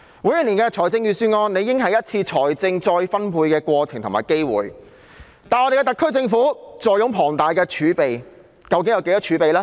每年的預算案理應是一次財政再分配的過程及機會，而特區政府坐擁龐大儲備，有多少儲備呢？